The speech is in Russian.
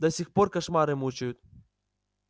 до сих пор кошмары мучают